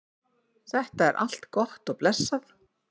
þetta er allt gott og blessað